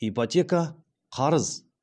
ипотека қарыз